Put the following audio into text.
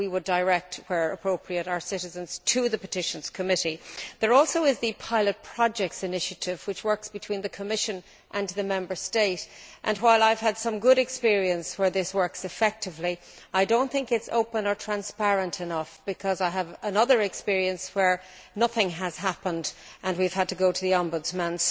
We would direct where appropriate our citizens to the Committee on Petitions. There also is the Pilot projects initiative which works between the Commission and the Member State. While I have had some good experience where this works effectively, I do not think it is open or transparent enough because I have had another experience where nothing happened and we had to go to the Ombudsman.